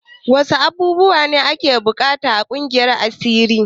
Wasu abubuwa ne ake buƙata a ƙungiyar asiri?